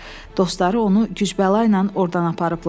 Dostları onu güclə oradan aparıblar.